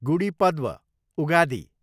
Gudi Padwa, Ugadi